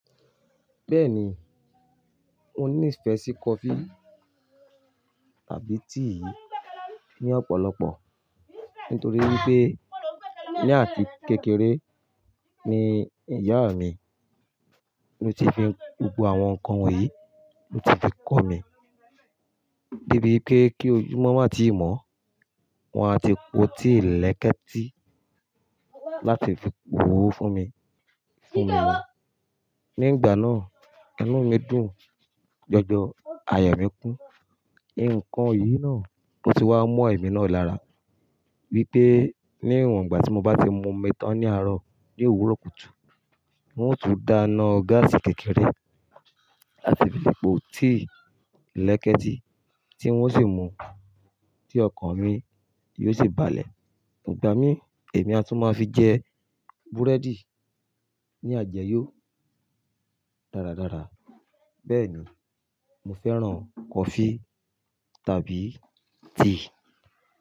Bẹ́ẹ̀ni, mo ní ìfẹ́ sí coffee àbí tea ní ọ̀pọ̀lọpọ̀. Nítorí wípé ní àti kekeré ni ìyá mi ló ti fi gbogbo àwọn nǹkan wo yìí ló ti fi kọ́ mi. Débi pé kí ojúmọ́ má ti mọ́, wọn a ti po tíì lẹ́kẹ́ẹ̀tí láti fi pò ó fún mi fún mi wò. Ní ìgbà náà, inú mi dùn, jọjọ àyà mí kún. Ǹǹkan yìí náà ló ti wá mo ẹ̀mí náà lára wípé níwọ̀n ìgbà tí mo bá ti mu omi tán ní àárọ̀ ní òwúrọ̀ kùtù, wọn yóò tún dá iná gáàsì kékeré láti fi po tíì lẹ́kẹ́ẹ̀tí tí wọn ó sì mú, tí ọkàn mi yóò sì balẹ̀. Ǹgbà mí, èmi a tún máa fi jẹ búrẹ́dì ní àjẹ́yọ̀ dáradára. Bẹ́ẹ̀ni mo fẹ́ràn coffee tàbí tea.